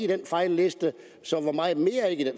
den fejlliste så hvor meget mere er ikke